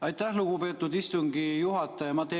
Aitäh, lugupeetud istungi juhataja!